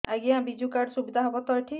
ଆଜ୍ଞା ବିଜୁ କାର୍ଡ ସୁବିଧା ହବ ତ ଏଠି